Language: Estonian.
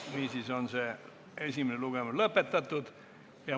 Niisiis on esimene lugemine lõpetatud.